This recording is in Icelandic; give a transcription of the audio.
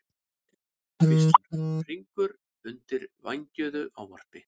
hvíslar Hringur undir vængjuðu ávarpi.